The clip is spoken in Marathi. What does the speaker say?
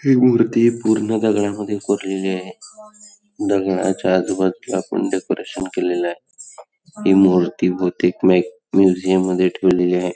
ती मूर्ती पूर्ण दगडा मध्ये कोरलेली आहे दगडाच्या आजूबाजूला पण डेकोरेशन केलेले आहे ही मूर्ती बहुतेक मूजिऊं मध्ये ठेवलेली आहे|